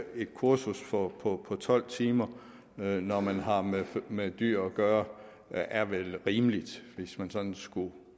et kursus på på tolv timer når man har med dyr at gøre er vel rimeligt hvis man sådan skulle